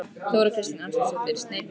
Þóra Kristín Arngrímsdóttir: Sneypuför?